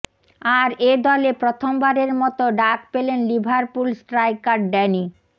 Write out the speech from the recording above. আর এ দলে প্রথমবারের মতো ডাক পেলেন লিভারপুল স্ট্রাইকার ড্যানি